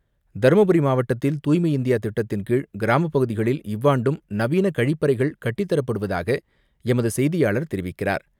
தருமபுரி மாவட்டத்தில், தூய்மை இந்தியா திட்டத்தின்கீழ், கிராமப்பகுதிகளில் இவ்வாண்டும் நவீன கழிப்பறைகள் கட்டித்தரப்படுவதாக எமது செய்தியாளர் தெரிவிக்கிறார்.